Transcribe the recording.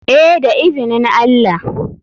Eh da izinin allah.